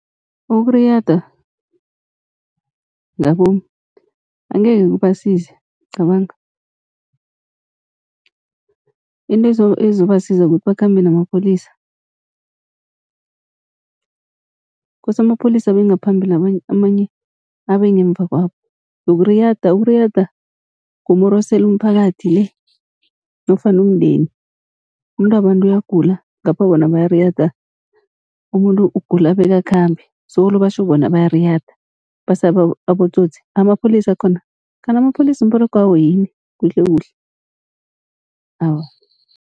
Ukuriyada ngabomu angekhe kubasize cabanga into ezobasiza kukuthi bakhambe namapholisa. Kose amapholisa abe ngaphambili amanye abe ngemuva kwabo, yokuriyada ukuriyada kumorosela umphakathi nofana umndeni, umuntu wabantu uyagula ngapha bona bayariyada. Umuntu ugula beka khambe solo batjho bona bayariyada basaba abotsotsi amapholisa akhona. Kanti amapholisa umberegwawo yini kuhle kuhle aw.